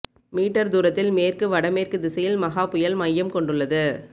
metre தூரத்தில் மேற்கு வடமேற்கு திசையில் மகா புயல் மையம் கொண்டுள்ளது